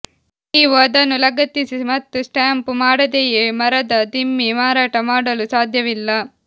ನೀವು ಅದನ್ನು ಲಗತ್ತಿಸಿ ಮತ್ತು ಸ್ಟ್ಯಾಂಪ್ ಮಾಡದೆಯೇ ಮರದ ದಿಮ್ಮಿ ಮಾರಾಟ ಮಾಡಲು ಸಾಧ್ಯವಿಲ್ಲ